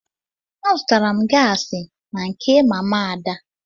Azụtara m gaasị na nke mama Ada.